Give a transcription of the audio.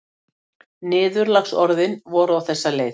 Niðurlagsorðin voru á þessa leið